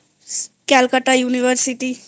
Calcutta University